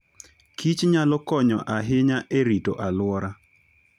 kich nyalo konyo ahinya e rito alwora.